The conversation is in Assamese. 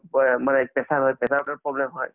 মানে pressure হয় pressure problem হয়